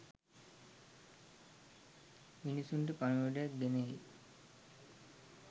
මිනිසුන්ට පණිවුඩයක් ගෙනෙයි.